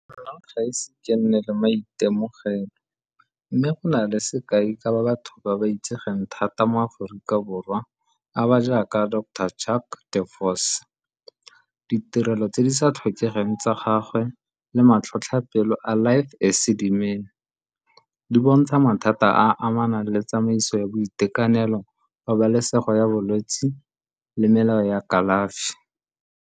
gaise ke nne le maitemogelo mme go na le sekai ka ba batho ba ba itsegeng thata mo Aforika Borwa a ba jaaka doctor . Ditirelo tse di sa tlhokegeng tsa gagwe le matlhotlhapelo Alive di bontsha mathata a a amanang le tsamaiso ya boitekanelo, pabalesego ya bolwetsi le melao ya kalafi.